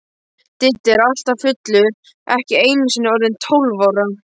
Diddi er alltaf fullur, ekki einusinni orðinn tólf ára.